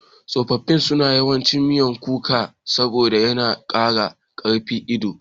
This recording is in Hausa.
Tsofaffi suna yawan cin miyan kuka saboda yana ƙara ƙarfin ido.